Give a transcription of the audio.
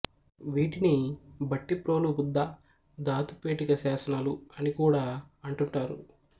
వీటిని భట్టిప్రోలు బుద్ధ ధాతుపేటిక శాసనాలు అని కూడా అంటుంటారు